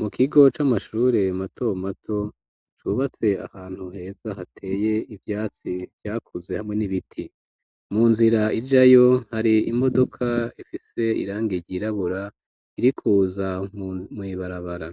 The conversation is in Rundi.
Mu kigo c'amashure matomato cubatse ahantu heza hateye ivyatsi vyakuze hamwe n'ibiti. Mu nzira ijayo hari imodoka ifise irangi ryirabura, irikuza mw'ibarabara.